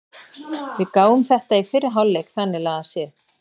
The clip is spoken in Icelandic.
Við gáfum þetta í fyrri hálfleik þannig lagað séð.